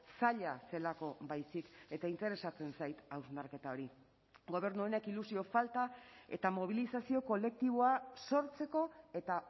zaila zelako baizik eta interesatzen zait hausnarketa hori gobernu honek ilusio falta eta mobilizazio kolektiboa sortzeko eta